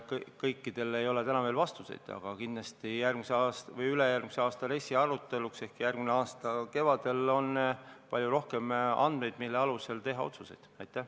Kõikidele küsimustele ei ole täna veel vastuseid, aga kindlasti ülejärgmise aasta RES-i arutelude ajaks ehk järgmise aasta kevadel on palju rohkem andmeid, mille alusel otsuseid teha.